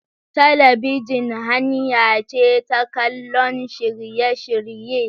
Talabijin hanya ce ta kallon shirye-shirye.